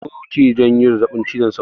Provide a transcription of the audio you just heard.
Sauro ke jawo zazzaɓin cizon sauro